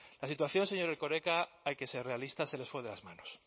la situación señor erkoreka hay que ser realistas se les fue de las manos